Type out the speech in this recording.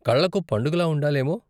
కళ్ళకు పండుగలా ఉండాలేమో.